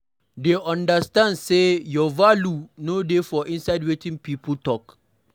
Dey understand sey your value no dey for inside wetin pipo talk